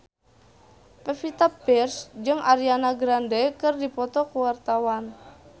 Pevita Pearce jeung Ariana Grande keur dipoto ku wartawan